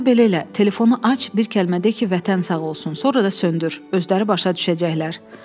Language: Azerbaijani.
Onda belə elə, telefonu aç, bir kəlmə de ki, vətən sağ olsun, sonra da söndür, özləri başa düşəcəklər.